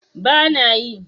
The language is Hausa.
ba na yi